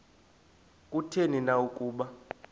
kutheni na ukuba